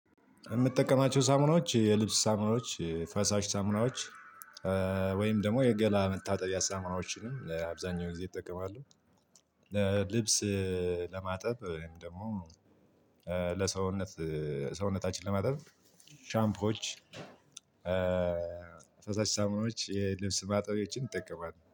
የምትጠቀማቸው ሳሙናዎች የልብስ ሳሙናዎች ፈሳሽ ሳሙናዎች ወይም ደግሞ የገላ መታጠብያ ሳሙናዎች እ አብዛኛው ጊዜ እጠቀማለሁ። ልብስ ለማጠብ ደግሞ ለሰውነት ሰውነታችን ለማጠብ ሻምፖች። ፈሳሽ ሳሙናዎች የልብስ ማጠብያዎችን እጠቀማለው